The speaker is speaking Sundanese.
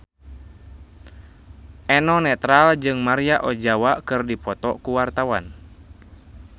Eno Netral jeung Maria Ozawa keur dipoto ku wartawan